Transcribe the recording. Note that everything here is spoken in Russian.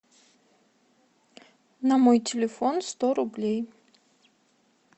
на мой телефон сто рублей